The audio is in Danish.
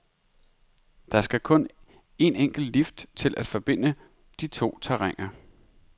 Der skal kun en enkelt lift til at forbinde de to terræner.